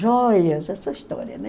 Joias, essa história, né?